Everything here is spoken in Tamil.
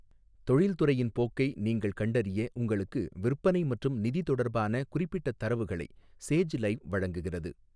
தொழில்துறையின் போக்கை நீங்கள் கண்டறிய உங்களுக்கு விற்பனை மற்றும் நிதி தொடர்பான குறிப்பிட்ட தரவுகளை 'சேஜ் லைவ்' வழங்குகிறது.